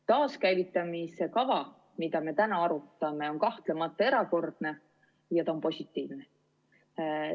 Taaskäivitamise kava, mida me täna arutame, on kahtlemata erakordne ja ta on positiivne.